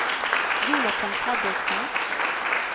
Jonathan Fredriksen